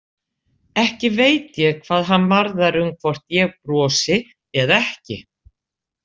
Ekki veit ég hvað hann varðar um hvort ég brosi eða ekki.